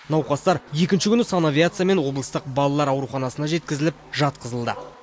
науқастар екінші күні санавиациямен облыстық балалар ауруханасына жеткізіліп жатқызылды